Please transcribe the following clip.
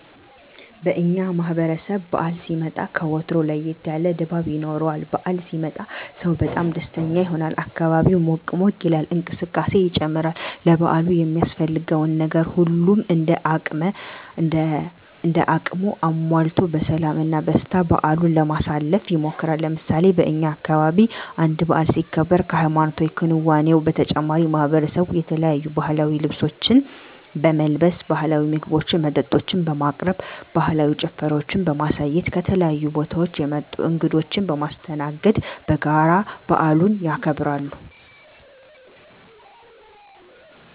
በእኛ ማህበረሰብ በዓል ሲመጣ ከወትሮው ለየት ያለ ድባብ ይኖረዋል። በዓል ሲመጣ ሰው በጣም ደስተኛ ይሆናል፣ አካባቢው ሞቅ ሞቅ ይላል፣ እንቅስቃሴ ይጨምራል፣ ለበዓሉ የሚያስፈልገውን ነገር ሁሉም እንደ አቅሙ አሟልቶ በሰላም እና በደስታ በዓሉን ለማሳለፍ ይሞክራል። ለምሳሌ በእኛ አካባቢ አንድ በዓል ሲከበር ከሀይማኖታዊ ክንዋኔው በተጨማሪ ማሕበረሰቡ የተለያዩ ባህላዊ ልብሶችን በመልበስ፣ ባህላዊ ምግቦችና መጠጦችን በማቅረብ፣ ባህላዊ ጭፈራዎችን በማሳየት፣ ከተለያዩ ቦታወች የመጡ እንግዶችን በማስተናገድ በጋራ በዓሉን ያከብራሉ።